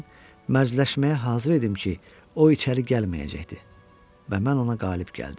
Mən mərdləşməyə hazır idim ki, o içəri gəlməyəcəkdi və mən ona qalib gəldim.